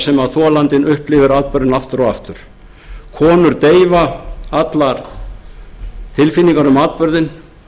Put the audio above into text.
sem þolandinn upplifir atburðinn aftur og aftur konur deyfa allar tilfinningar um atburðinn